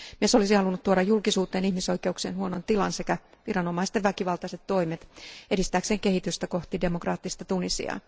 Mies olisi halunnut tuoda julkisuuteen ihmisoikeuksien huonon tilan sekä viranomaisten väkivaltaiset toimet edistääkseen kehitystä kohti demokraattista Tunisiaa.